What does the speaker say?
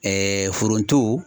foronto.